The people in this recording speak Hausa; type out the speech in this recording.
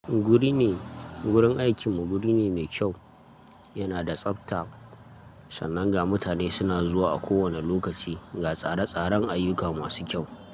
Guri ne, gurin aikin mu guri ne mai kyau, yana da tsabta sannan ga mutane suna zuwa a kowane lokaci ga tsare tsaren ayuka masu kyau.